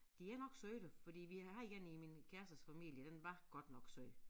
De er nok søde fordi havde én i min kærestes familie den var godt nok sød